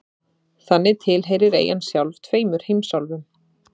Þannig tilheyrir eyjan sjálf tveimur heimsálfum.